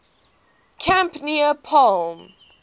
camp near palm